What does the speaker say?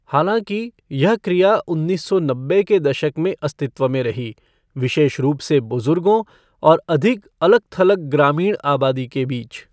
हालाँकि, यह क्रिया उन्नीस सौ नब्बे के दशक में अस्तित्व में रही, विशेष रूप से बुज़ुर्गों और अधिक अलग थलग ग्रामीण आबादी के बीच।